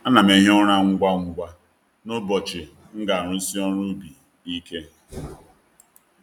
A na'm ehi ụra ngwa ngwa n’ụbọchị m ga-arụsi ọrụ ubi ike.